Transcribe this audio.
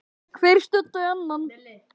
Hver studdi annan.